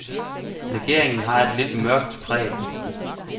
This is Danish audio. Legeringen har et lidt mørkt præg.